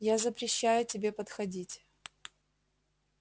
я запрещаю тебе подходить